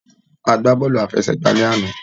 A gbá bọ́ọ̀lù àfẹsẹ̀gbá lánàá.